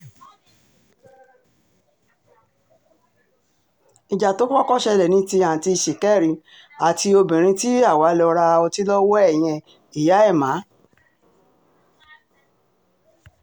ìjà tó kọ́kọ́ ṣẹlẹ̀ ní ti àtúntì ṣìkẹ̀rì àti obìnrin tí àwa lọ́ọ́ ra ọtí lọ́wọ́ ẹ̀ yẹn ìyá ẹ̀mà